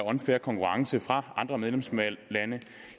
unfair konkurrence fra andre medlemslande